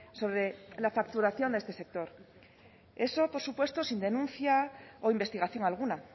sobre la facturación de este sector eso por supuesto sin denuncia o investigación alguna